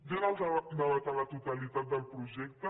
jo en el debat a la totalitat del projecte